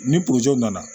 Ni nana